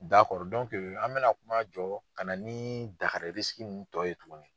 an be na kuma jɔ ka na ni tɔ ye tuguni.